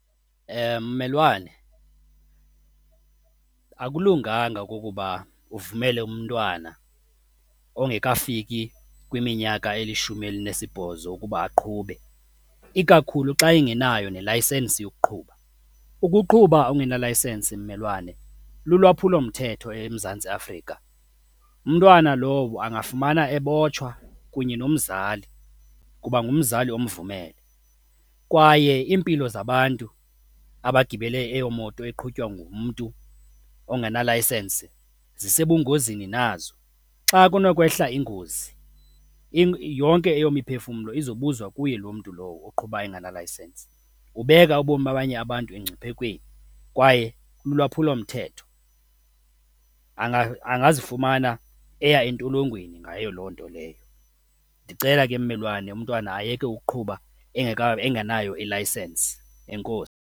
Mmelwane, akulunganga okokuba uvumele umntwana ongekafiki kwiminyaka elishumi elinesibhozo ukuba aqhube, ikakhulu xa engenayo nelayisensi yokuqhuba. Ukuqhuba ungenalayisensi, mmelwane, lulwaphulomthetho eMzantsi Afrika umntwana lowo angazifumana ebotshwa kunye nomzali kuba ngumzali omvumele kwaye iimpilo zabantu abagibele eyo moto eqhutywa ngumntu ongenalayisensi zisebungozini nazo. Xa kunokwehla ingozi yonke eyo miphefumlo izobuzwa kuye loo mntu lowo oqhuba engenalayisensi. Ubeka ubomi babanye abantu engciphekweni kwaye lulwaphulomthetho, angazifumana eya entolongweni ngayo loo nto leyo. Ndicela ke mmelwane umntwana ayeke ukuqhuba engenayo ilayisensi, .